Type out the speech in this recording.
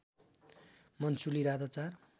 मन्सुली राधा चार